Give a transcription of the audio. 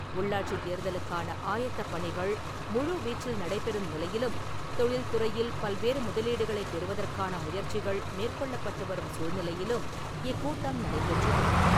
உள்ளாட்சித் தேர்தலுக்கான ஆயத்தப் பணிகள் முழுவீச்சில் நடைபெறும் நிலையிலும், தொழில்துறையில் பல்வேறு முதலீடுகளைப் பெறுவதற்கான முயற்சிகள் மேற்கொள்ளப்பட்டு வரும் சூழ்நிலையிலும் இக்கூட்டம் நடைபெற்றது.